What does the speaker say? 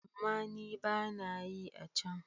Amma ni ba na yi a can.